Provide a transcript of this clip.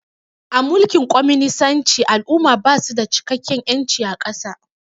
A mulkin kwaminisanci al'umma basu da cikakken ƴanci a ƙasa